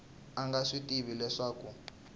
a nga swi tivi leswaku